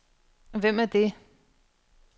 Hvem er det